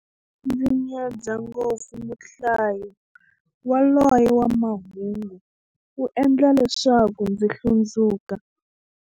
Ndzi nyadza ngopfu muhlayi yaloye wa mahungu, u endla leswaku ndzi hlundzuka.